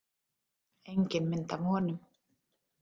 Engin mynd af honum.